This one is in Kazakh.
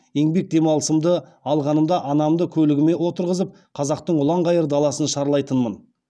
еңбек демалысымды алғанымда анамды көлігіме отырғызып қазақтың ұлан ғайыр даласын шарлайтынмын